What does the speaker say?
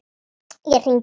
Ég hringi bara.